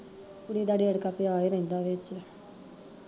ਕੁੜੀ ਦਾ ਰੇੜਕਾ ਪਿਆ ਰੇਂਦਾ ਵਿੱਚ